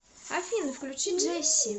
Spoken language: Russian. афина включи джесси